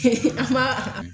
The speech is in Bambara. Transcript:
an b'a